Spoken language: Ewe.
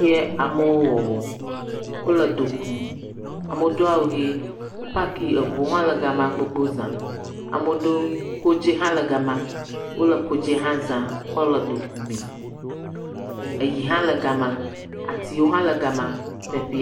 Kee amewo wɔwɔm. wo le do kum. Amewo do awu ʋi. Wo paki eŋuwo hã ɖe ga ma gbogbo za. Ame aɖewo. Kodzi hã le ga ma. Wo le kodzi hã zam kɔ le do ku mee. Eyi hã le ga ma